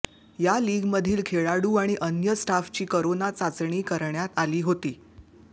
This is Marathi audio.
या लीगमधील खेळाडू आणि अन्य स्टाफची करोना चाचणी करण्यात आली होती